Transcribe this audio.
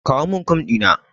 Kawo min Kum ɗina.